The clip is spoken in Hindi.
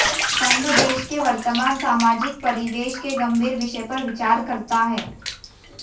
संघ देश के वर्तमान सामाजिक परिवेश के गंभीर विषय पर विचार करता है